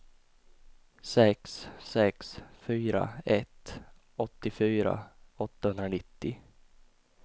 sex sex fyra ett åttiofyra åttahundranittio